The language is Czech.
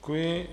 Děkuji.